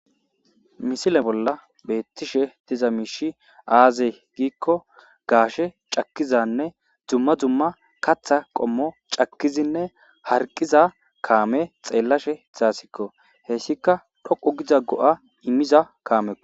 misile bolla beettishe tiza miishi aaze giikko gaashe cakizanne dzumma dzumma katha qommo cakkizinne harqiza kaame xeellashe izaasikko hessika dhoqu giza go7a immiza kaamekko